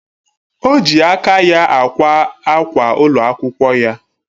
Oji aka ya akwa akwa ụlọ akwụkwọ ya